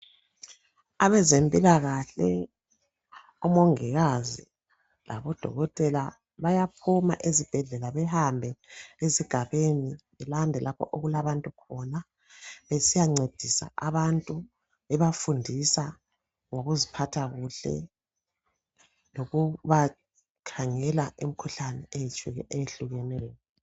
Abezempilakahle, omongikazi labodokotela bayaphuma ezibhedlela behambe ezigabeni belanda lapha okulabantu khona besiyancedisa abantu bebafundisa ngokuziphatha kuhle lokubakhangela imikhuhlane eyehlukeneyo.